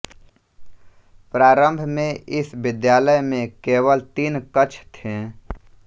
प्रारम्भ में इस विद्यालय में केवल तीन कक्ष थे